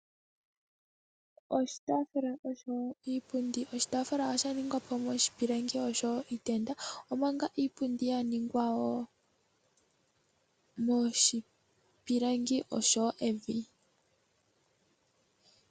Oshitaafula oshowo iipundi. Oshitaafula osha ningwa po moshipilangi oshowo miitenda niipundi oya ningwa wo moshipilangi oshowo evi.